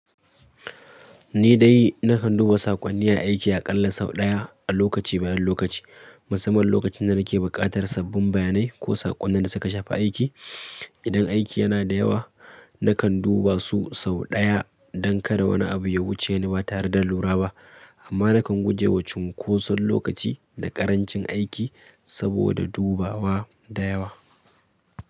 Ni dai nakan duba saƙonni na aiki aƙalla sau ɗaya a lokaci-bayan-lokaci, musamman lokacin da nake buƙatar sabbin bayanai ko saƙonnin da suka shafa aiki. Idan aiki yana da yawa, nakan duba su sau ɗaya don kada wani abu ya wuce ni ba tare da lura ba. Amma nakan guje wa cunkoson lokaci da ƙarancin aiki saboda dubawa da yawa.